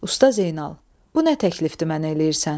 Usta Zeynal, bu nə təklifdir mənə eləyirsən?